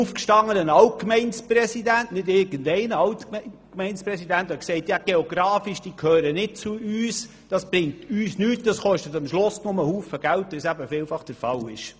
Da sagte ein Alt-Gemeindepräsident, Golaten gehöre geografisch nicht zu uns, das bringe uns nichts und koste am Schluss nur viel Geld, wie es oft der Fall sei.